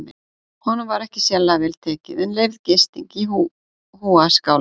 Honum var ekki sérlega vel tekið en leyfð gisting í hjúaskála.